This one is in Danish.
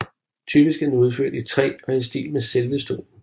Typisk er den udført i træ og i stil med selve stolen